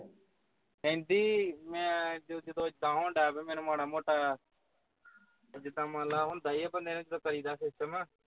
ਕਹਿੰਦੀ ਮੈਂ ਜਦੋਂ ਏਦਾਂ ਹੁਣ ਢਹਿ ਪਿਆ ਮਾੜਾ ਮੋਟਾ ਜਿੱਦਾਂ ਮੰਨ ਲੈਣ ਹੁੰਦਾ ਹੀ ਹੈ ਬੰਦੇ ਨੂੰ ਕਿੱਦਾਂ ਕਰੀਦਾਆ system